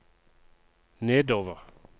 nedover